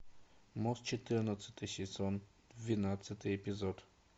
мост четырнадцатый сезон двенадцатый эпизод